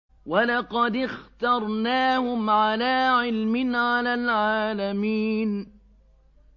وَلَقَدِ اخْتَرْنَاهُمْ عَلَىٰ عِلْمٍ عَلَى الْعَالَمِينَ